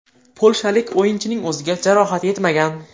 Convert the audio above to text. Polshalik o‘yinchining o‘ziga jarohat yetmagan.